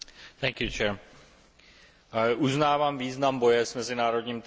Uznávám význam boje s mezinárodním terorismem i mezinárodním zločinem.